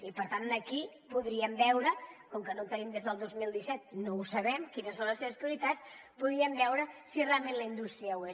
i per tant aquí podríem veure com que no en tenim des del dos mil disset no ho sabem quines són les seves prioritats si realment la indústria ho és